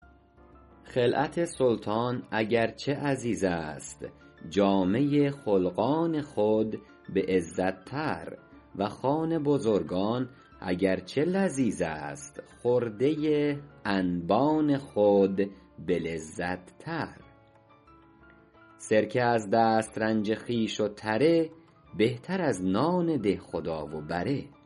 خلعت سلطان اگر چه عزیز است جامه خلقان خود به عزت تر و خوان بزرگان اگر چه لذیذ است خرده انبان خود به لذت تر سرکه از دسترنج خویش و تره بهتر از نان دهخدا و بره